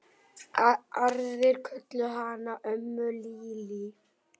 Aðrir kölluðu hana ömmu Lillý.